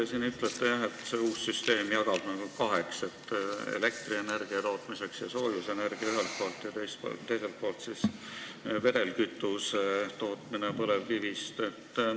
Te siin ütlete, et see uus süsteem jagab keskkonnatasud kaheks: põlevkivist elektrienergia ja soojusenergia tootmisel ühelt poolt ja teiselt poolt siis vedelkütuse tootmisel.